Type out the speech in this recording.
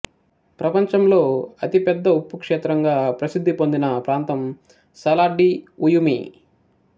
ప్రపంచంలో అతి పెద్ద ఉప్పు క్షేత్రంగా ప్రసిద్ధి పొందిన ప్రాంతం సలార్ డి ఉయుమి